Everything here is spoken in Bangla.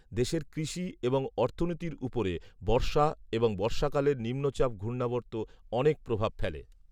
দেশের কৃষি এবং অর্থনীতির উপরে বর্ষা এবং বর্ষাকালের নিম্নচাপ ঘূর্ণাবর্ত অনেক প্রভাব ফেলে